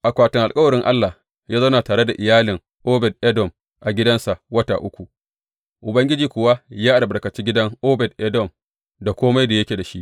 Akwatin Alkawarin Allah ya zauna tare da iyalin Obed Edom a gidansa wata uku, Ubangiji kuwa ya albarkaci gidan Obed Edom da kome da yake da shi.